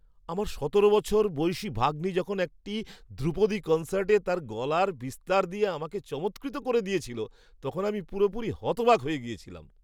আমার সতেরো বছর বয়সী ভাগ্নি যখন একটি ধ্রুপদী কনসার্টে তার গলার বিস্তার দিয়ে আমাকে চমৎকৃত করে দিয়েছিল তখন আমি পুরোপুরি হতবাক হয়ে গিয়েছিলাম।